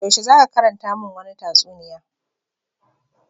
Yaushe za ka karanta mun wani tatsuniya.